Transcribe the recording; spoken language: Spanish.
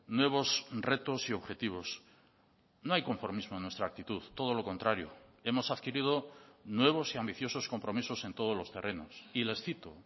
nuevos retos y objetivos no hay conformismo en nuestra actitud todo lo contrario hemos adquirido nuevos y ambiciosos compromisos en todos los terrenos y les cito